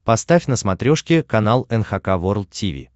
поставь на смотрешке канал эн эйч кей волд ти ви